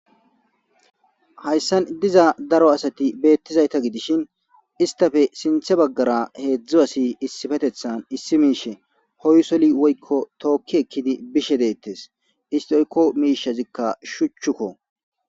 Haysan diza daro asati betizayita gidishin issitape sinita bagara hedzdzu asi issipetetan issi mishi hoysoli woyko toki ekidi bishe detes isiti oyiko mishi shuchiko